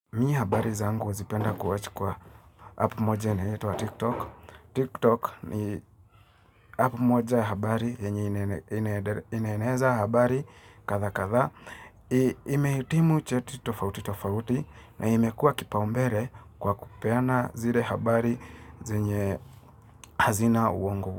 Mie habari zangu huzipenda kuwachi kwa apu moja ina yoitwa tiktok Tiktok ni apu moja habari yenye inaeneza habari katha katha Imeitimu cheti tofauti tofauti na imekua kipaumbere kwa kupeana zile habari zenye hazina uongo.